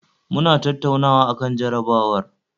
Muna tattaunawa akan jarabawar